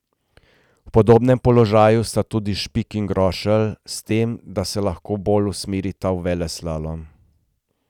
V podobnem položaju sta tudi Špik in Grošelj, s tem, da se lahko bolj usmerita v veleslalom.